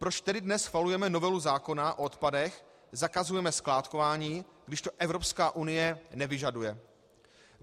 Proč tedy dnes schvalujeme novelu zákona o odpadech, zakazujeme skládkování, když to Evropská unie nevyžaduje?